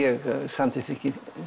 samþykki